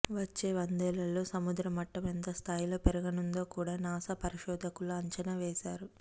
వచ్చే వందేళ్లలో సముద్ర మట్టం ఎంత స్థాయిలో పెరగనుందో కూడా నాసా పరిశోధకులు అంచనా వేశారు